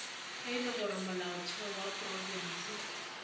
le gore molaotheo wa profense